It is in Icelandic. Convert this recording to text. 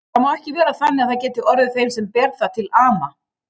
Það má ekki vera þannig að það geti orðið þeim sem ber það til ama.